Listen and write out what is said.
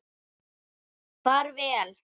Far vel.